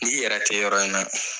Ni yɛrɛ tɛ yɔrɔ in na